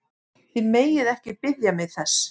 Þið megið ekki biðja mig þess!